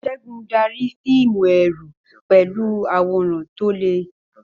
Segun darí fíìmù ẹ̀rù pẹ̀lú àwòrán tó le.